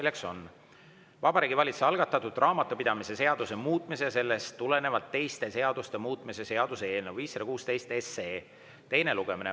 See on Vabariigi Valitsuse algatatud raamatupidamise seaduse muutmise ja sellest tulenevalt teiste seaduste muutmise seaduse eelnõu 516 teine lugemine.